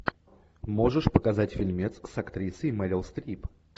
можешь показать фильмец с актрисой мэрил стрип